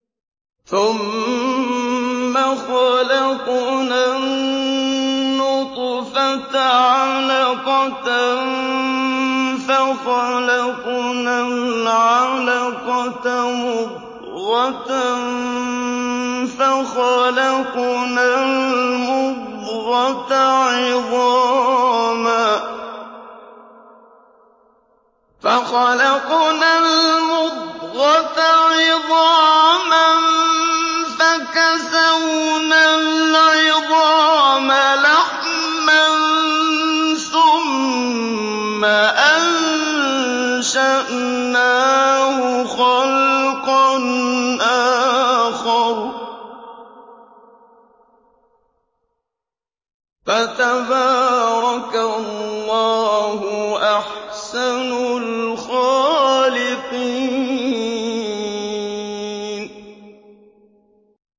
ثُمَّ خَلَقْنَا النُّطْفَةَ عَلَقَةً فَخَلَقْنَا الْعَلَقَةَ مُضْغَةً فَخَلَقْنَا الْمُضْغَةَ عِظَامًا فَكَسَوْنَا الْعِظَامَ لَحْمًا ثُمَّ أَنشَأْنَاهُ خَلْقًا آخَرَ ۚ فَتَبَارَكَ اللَّهُ أَحْسَنُ الْخَالِقِينَ